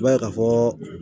I b'a ye ka fɔ